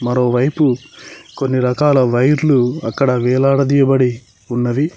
మరోవైపు కొన్ని రకాల వైర్లు అక్కడ వేలాడదీయబడి ఉన్నవి.